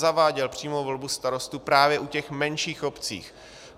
Zaváděl přímou volbu starostů právě u těch menších obcí.